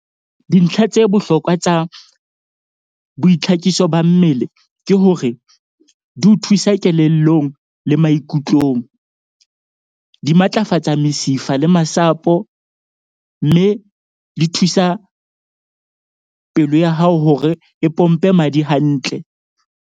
Dintlha tse bohlokwa tsa boitlhakiso ba mmele ke hore di o thusa kelellong le maikutlong. Di matlafatsa mesifa le masapo, mme di thusa pelo ya hao hore e pompe madi hantle.